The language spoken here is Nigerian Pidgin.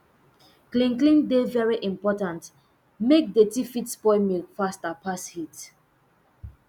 clean clean dey very important make dirty fit spoil milk faster pass heat